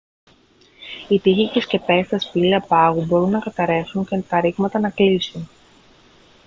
οι τοίχοι και οι σκεπές στα σπήλαια πάγου μπορούν να καταρρεύσουν και τα ρήγματα να κλείσουν